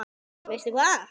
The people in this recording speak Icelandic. Veistu hvað?